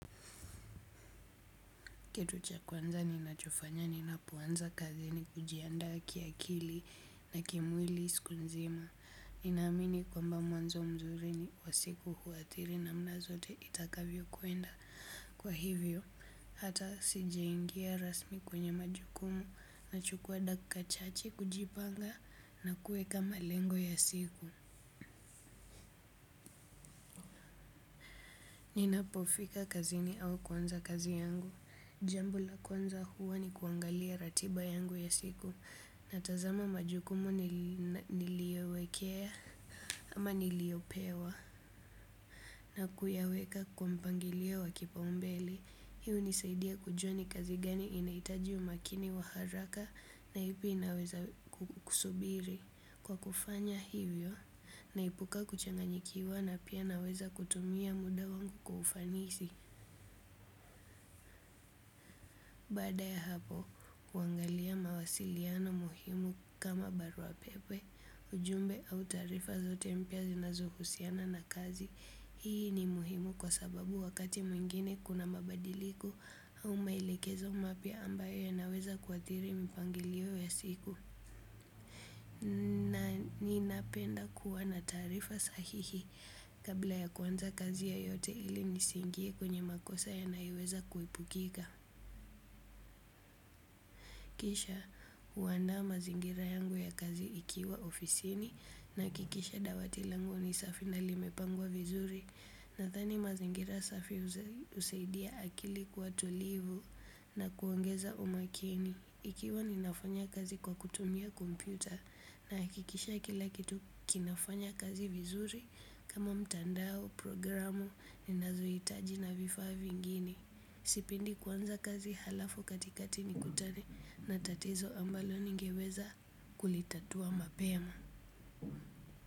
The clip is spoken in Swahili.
Kitu cha kwanza ninachofanya ninapoanza kazi ni kujiandaa kiakili na kimwili siku nzima. Ninaamini kwamba mwanzo mzuri ni wasiku huathiri namna zote itakavyo kwenda. Kwa hivyo, hata sijaingia rasmi kwenye majukumu nachukua dakika chache kujipanga na kuweka malengo ya siku. Ninapofika kazini au kuanza kazi yangu. Jambo la kwanza huwa ni kuangalia ratiba yangu ya siku. Natazama majukumu niliyowekea ama niliyopewa. Na kuyaweka kwa mpangilio wa kipaumbele. Hii hunisaidia kujua ni kazi gani inaitaji umakini wa haraka na ipi inaweza kusubiri. Kwa kufanya hivyo naepuka kuchanganyikiwa na pia naweza kutumia muda wangu kwa ufanisi baada ya hapo huangalia mawasiliano muhimu kama barua pepe ujumbe au taarifa zote mpya zinazohusiana na kazi. Hii ni muhimu kwa sababu wakati mwingine kuna mabadiliko au maelekezo mapya ambayo yanaweza kuathiri mpangilio ya siku. Ninapenda kuwa na taarifa sahihi kabla ya kuanza kazi yoyote ili nisiingie kwenye makosa yanayoweza kuipukika. Kisha huandaa mazingira yangu ya kazi ikiwa ofisini nahakikisha dawati langu ni safi na limepangwa vizuri nadhani mazingira safi husaidia akili kuwa tulivu na kuongeza umakini. Ikiwa ninafanya kazi kwa kutumia kompyuta nahakikisha kila kitu kinafanya kazi vizuri kama mtandao, programu, ninazohitaji na vifaa vingine. Sipendi kuanza kazi halafu katikati nikutane na tatizo ambalo ningeweza kulitatua mapema.